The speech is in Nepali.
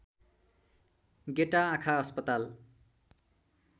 गेटा आँखा अस्पताल